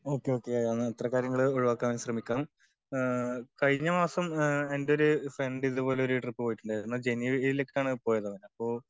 Okay okay എന്നാ അത്തരം കാര്യങ്ങൾ ഒഴിവാക്കാൻ ശ്രമിക്കാം. കഴിഞ്ഞ മാസം എൻ്റൊരു ഫ്രണ്ട് ഇതുപോലൊരു ട്രിപ്പ് പോയിട്ടുണ്ടായിരുന്നു. ജനുവരീൽ ഒക്കെ ആണ് പോയത്. അവൻ അപ്പൊ